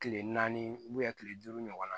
Kile naani kile duuru ɲɔgɔn na